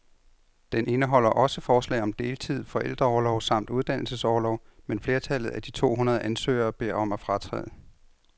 Den indeholder også forslag om deltid, forældreorlov samt uddannelsesorlov, men flertallet af de to hundrede ansøgere beder om at fratræde.